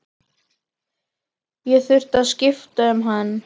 Ég þurfti að skipta um hann.